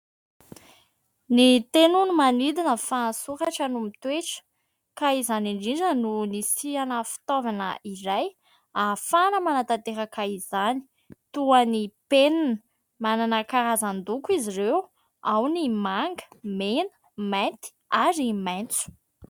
"Ny teny hono no manidina fa ny soratra no mitoetra" ka izany indrindra no nisihana fitaovana iray ahafahana manatanteraka izany toa ny mpenina. Manana karazan-doko izy ireo: ao ny manga, mena, mainty, ary maintso.